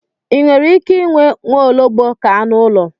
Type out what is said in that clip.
Ì nwere ike inwe nwaologbo ka anụ ụlọ?